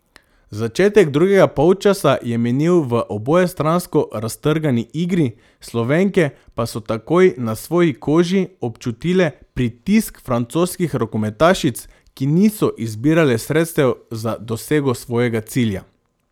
Začetek drugega polčasa je minil v obojestransko raztrgani igri, Slovenke pa so takoj na svoji koži občutile pritisk francoskih rokometašic, ki niso izbirale sredstev za dosego svojega cilja.